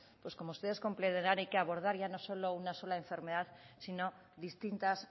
pues como ustedes comprenderán hay que abordar ya no solo una sola enfermedad sino distintas